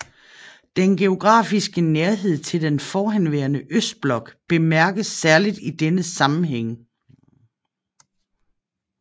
Den geografiske nærhed til den forhenværende østblok bemærkes særligt i denne sammenhæng